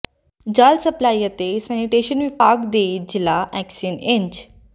ਜਲ ਸਪਲਾਈ ਅਤੇ ਸੈਨੀਟੇਸ਼ਨ ਵਿਭਾਗ ਦੇ ਜ਼ਿਲ੍ਹਾ ਐਕਸੀਅਨ ਇੰਜ